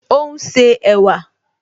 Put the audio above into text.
Ó ún ṣe ẹ̀wà